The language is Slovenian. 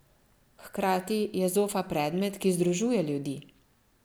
Hkrati je zofa predmet, ki združuje ljudi.